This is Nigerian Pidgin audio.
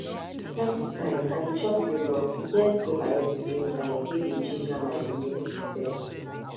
time to time i dey chop yogurt e get probiotic inside wey dey ginger my immune system